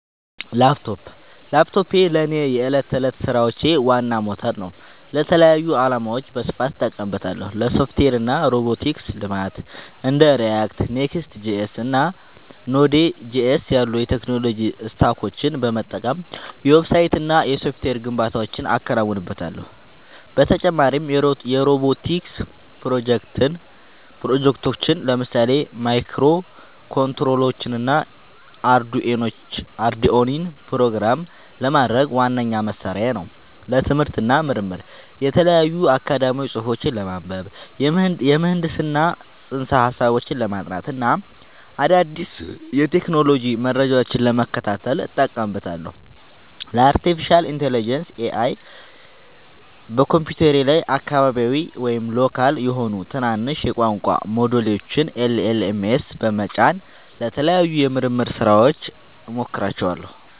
ላፕቶፕ ላፕቶፔ ለእኔ የዕለት ተዕለት ሥራዎቼ ዋና ሞተር ነው። ለተለያዩ ዓላማዎች በስፋት እጠቀምበታለሁ - ለሶፍትዌር እና ሮቦቲክስ ልማት እንደ React፣ Next.js እና Node.js ያሉ የቴክኖሎጂ ስታኮችን በመጠቀም የዌብሳይትና የሶፍትዌር ግንባታዎችን አከናውንበታለሁ። በተጨማሪም የሮቦቲክስ ፕሮጀክቶችን (ለምሳሌ ማይክሮኮንትሮለሮችንና አርዱኢኖን) ፕሮግራም ለማድረግ ዋነኛ መሣሪያዬ ነው። ለትምህርት እና ምርምር የተለያዩ አካዳሚያዊ ጽሑፎችን ለማንበብ፣ የምህንድስና ፅንሰ-ሀሳቦችን ለማጥናት እና አዳዲስ የቴክኖሎጂ መረጃዎችን ለመከታተል እጠቀምበታለሁ። ለአርቲፊሻል ኢንተለጀንስ (AI) በኮምፒውተሬ ላይ አካባቢያዊ (local) የሆኑ ትናንሽ የቋንቋ ሞዴሎችን (LLMs) በመጫን ለተለያዩ የምርምር ሥራዎች እሞክራቸዋለሁ።